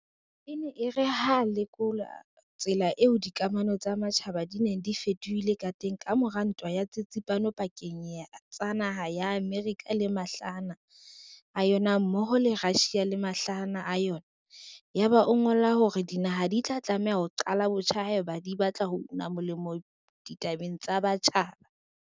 E ne e re ha a lekola tsela eo dikamano tsa matjhaba di neng di fetohile ka teng ka mora Ntwa ya Tsitsipano pakeng tsa naha ya Amerika le mahlahana a yona mmoho le ya Russia le mahlahana a yona, ya ba o ngola hore dinaha di tla tlameha ho "qala botjha" haeba di batla ho una molemo ditabeng tsa matjhaba.